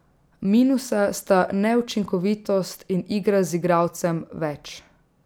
Minusa sta neučinkovitost in igra z igralcem več.